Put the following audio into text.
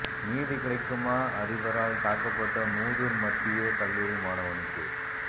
நீதி கிடைக்குமா அதிபரால் தாக்கப்பட்ட மூதூர் மத்திய கல்லூரி மாணவனுக்கு்